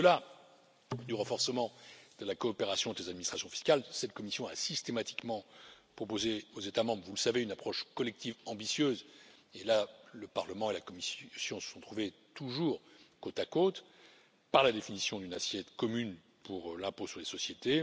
Au delà du renforcement de la coopération avec les administrations fiscales, cette Commission a systématiquement proposé aux États membres, comme vous le savez, une approche collective ambitieuse et là, le Parlement et la Commission se sont toujours trouvés côte à côte par la définition d'une assiette commune pour l'impôt sur les sociétés.